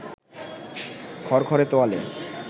খড়খড়ে তোয়ালে